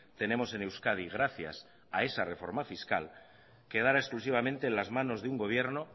tenemos en euskadi gracias a esa reforma fiscal quedará exclusivamente en las manos de un gobierno